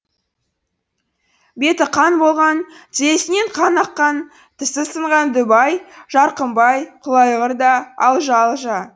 беті қан болған тізесінен қан аққан тісі сынған дубай жарқымбай құлайғыр да алжа алжа